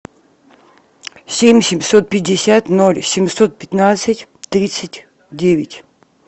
семь семьсот пятьдесят ноль семьсот пятнадцать тридцать девять